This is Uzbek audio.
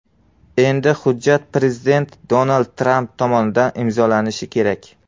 Endi hujjat prezident Donald Tramp tomonidan imzolanishi kerak.